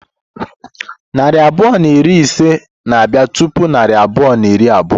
Narị abụọ na iri na ise na-abịa tupu narị abụọ na iri abụọ.